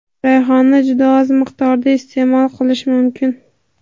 rayhonni juda oz miqdorda iste’mol qilish mumkin.